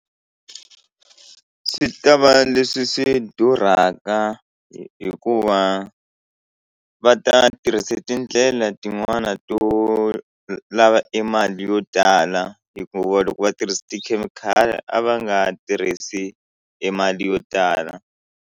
Swi ta va leswi swi durhaka hikuva va ta tirhisa tindlela tin'wani to lava e mali yo tala hikuva loko va tirhisa tikhemikhali a va nga tirhisi e mali yo tala.